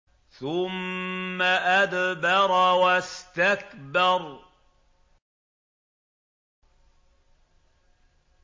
ثُمَّ أَدْبَرَ وَاسْتَكْبَرَ